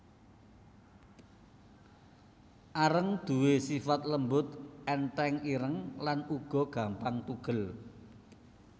Areng duwé sifat lembut ènthèng ireng lan uga gampang tugel